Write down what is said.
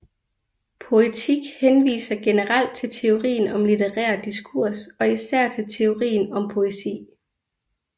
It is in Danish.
Poetik henviser generelt til teorien om litterær diskurs og især til teorien om poesi